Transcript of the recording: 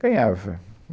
Ganhava